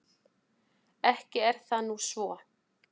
Ekki er það nú svo.